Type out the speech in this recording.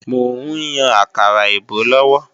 Mò ń yan àkàrà èbó lọ́wọ́